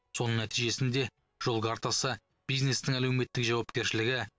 соның нәтижесінде жол картасы бизнестің әлеуметтік жауапкершілігі